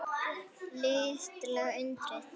Litla undrið.